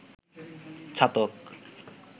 Chhatak